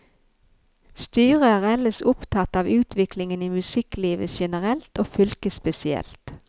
Styret er ellers opptatt av utviklingen i musikklivet generelt og fylket spesielt.